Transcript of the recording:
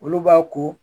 Olu b'a ko